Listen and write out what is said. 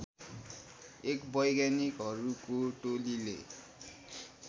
एक वैज्ञानिकहरूको टोलीले